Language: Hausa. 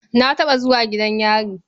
Na taɓa zuwa gidan yari.